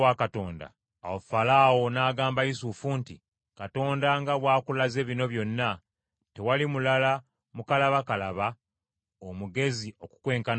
Awo Falaawo n’agamba Yusufu nti, “Katonda nga bw’akulaze bino byonna, tewali mulala mukalabakalaba, omugezi okukwenkana ggwe.